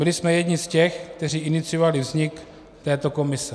Byli jsme jedni z těch, kteří iniciovali vznik této komise.